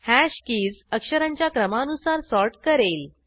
hash keys अक्षरांच्या क्रमानुसार sort करेल